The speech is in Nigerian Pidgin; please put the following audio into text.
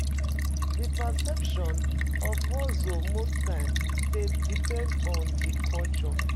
Di perception of hustle most times dey depend on di culture